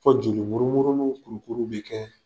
Fɔ jolimurumununinw kurukuru bɛ kɛ